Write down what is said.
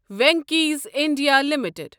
Venky's India limited